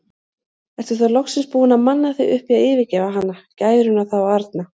Ertu þá loksins búinn að manna þig upp í að yfirgefa hana, gæruna þá arna?